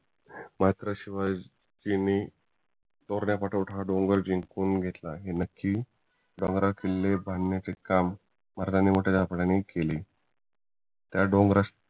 मात्र शिवाजी महाराजांनी तोरणा पाठोपाठ हा डोंगर जिंकून घेतला हे नक्की डोंगरावर किल्ले बांधण्याचे काम मर्दानी केले त्या डोंगराशी